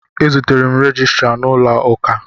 E zutere m rejistra n'ụlọụka.